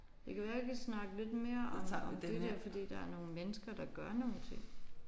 Det kan være vi kan snakke lidt mere om det der fordi der er nogle mennesker der gør nogle ting